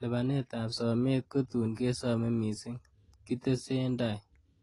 'Lipanet ab somet kotun kesome missing,''kitesen tai